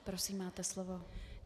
Prosím, máte slovo.